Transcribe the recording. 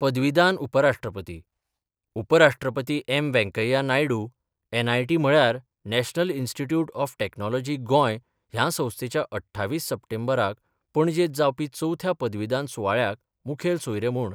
पदवीदान उपराष्ट्रपती उपराष्ट्रपती एम वैंकय्या नायडू, एनआयटी म्हळ्यार National Institute of Technology Goa ह्या संस्थेच्या अठ्ठावीस सप्टेंबराक पणजेंत जावपी चौथ्या पदवीदान सुवाळ्याक मुखेल सोयरे म्हूण